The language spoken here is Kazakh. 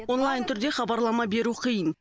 онлайн түрде хабарлама беру қиын